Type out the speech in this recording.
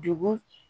Dugu